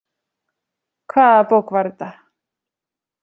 Hvaða bók var þetta?